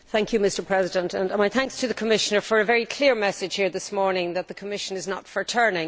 Mr President, my thanks to the Commissioner for a very clear message here this morning that the Commission is not for turning.